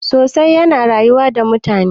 sosai yana rayuwa da mutane